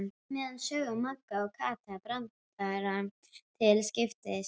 meðan sögðu Magga og Kata brandara til skiptis.